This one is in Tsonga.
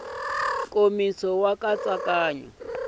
nkomiso nkatsakanyo a hi wa